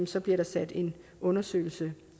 så bliver der sat en undersøgelse